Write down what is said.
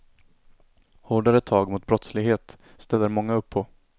Hårdare tag mot brottslighet ställer många upp på.